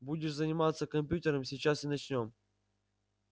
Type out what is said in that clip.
будешь заниматься компьютером сейчас и начнём